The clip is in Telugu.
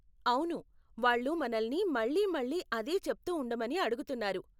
అవును, వాళ్ళు మనల్ని మళ్ళీ మళ్ళీ అదే చెప్తూ ఉండమని అడుగుతున్నారు.